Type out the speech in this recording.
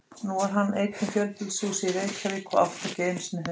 Nú var hann einn í fjölbýlishúsi í Reykjavík og átti ekki einu sinni hund.